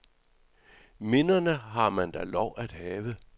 Minderne har man da lov at have.